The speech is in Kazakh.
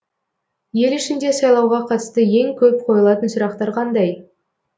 ел ішінде сайлауға қатысты ең көп қойылатын сұрақтар қандай